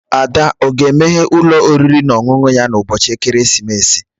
Ada o ga-emeghe ụlọ oriri na ọṅụṅụ ya n'ụbọchị ekeresimesi?